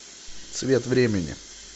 цвет времени